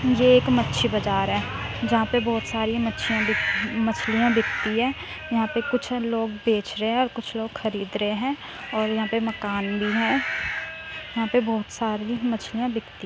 ये एक मच्छी बाजार है। जहाँ पे बहुत सारी मछिया बिक मछलियां बिकती है। यहाँ पे कुछ लोग बेच रहे है और कुछ लोग खरीद रहे हैं और यहाँ पे मकान भी है। यहाँ पे बहुत सारी मछलिया बिकती --